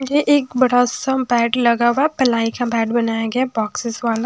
ये एक बड़ा सा बैड लगा हुआ पलाई का बैड बनाया गया बॉक्सेस वाला।